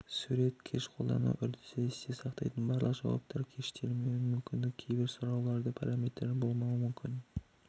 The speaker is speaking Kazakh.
сурет кэш көлдану үрдісі есте сақтайтын барлық жауаптар кэштелмеуі мүмкін кейбір сұрауларда параметрлер болмауы мүмкін